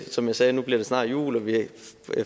som jeg sagde bliver det snart jul og vi